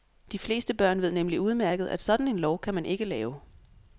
De fleste børn ved nemlig udmærket, at sådan en lov kan man ikke lave.